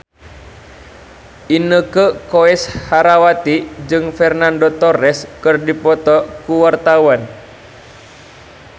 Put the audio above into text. Inneke Koesherawati jeung Fernando Torres keur dipoto ku wartawan